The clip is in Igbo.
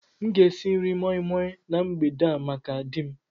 M ga-esi nri moi Moi na mgbede a maka di m